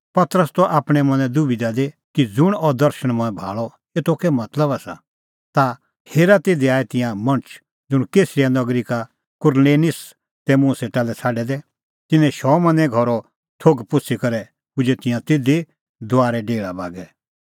पतरस त आपणैं मनैं दबिधा दी कि ज़ुंण अह दर्शण मंऐं भाल़अ एतो कै मतलब आसा ता हेरा तिधी आऐ तिंयां मणछ ज़ुंण कैसरिया नगरी का कुरनेलिस तै मुंह सेटा लै छ़ाडै दै तिन्नैं शमौने घरो थोघ पुछ़ी करै पुजै तिंयां तिधी दुआरे डेहल़ा बागै